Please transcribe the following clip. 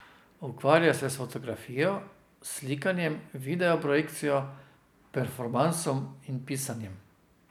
Ukvarja se s fotografijo, slikanjem, video projekcijo, performansom in pisanjem.